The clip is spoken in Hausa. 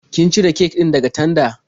Kin cire kek din daga tanda?